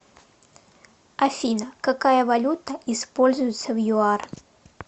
афина какая валюта используется в юар